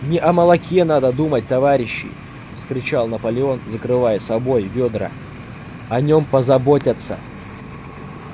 не о молоке надо думать товарищи вскричал наполеон закрывая собой ведра о нём позаботятся